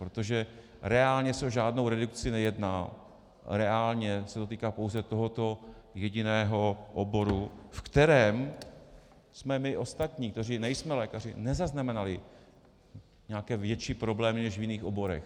Protože reálně se o žádnou redukci nejedná, reálně se to týká pouze tohoto jediného oboru, ve kterém jsme my ostatní, kteří nejsme lékaři, nezaznamenali nějaké větší problémy než v jiných oborech.